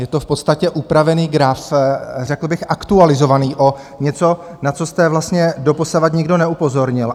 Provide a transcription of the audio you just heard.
Je to v podstatě upravený graf, řekl bych aktualizovaný, o něco, na co jste vlastně doposavad nikdo neupozornil.